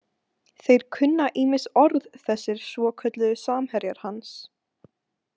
Þeir kunna ýmis orð, þessir svokölluðu samherjar hans.